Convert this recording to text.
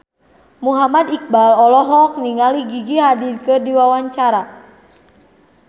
Muhammad Iqbal olohok ningali Gigi Hadid keur diwawancara